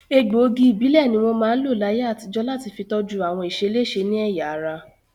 Egbòogi ìbílẹ̀ ní wọ́n máa ń lò láyé àtijọ́ láti fi tọ́jú àwọn ìṣeléṣe ní ẹ̀yà ara